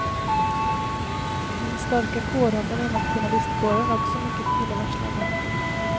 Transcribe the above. Den starka kårandan inom journalistkåren är också mycket illavarslande.